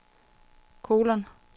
kolon